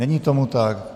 Není tomu tak.